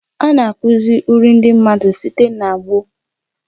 A na-akụzi uri ndị mmadụ site n'ọgbọ.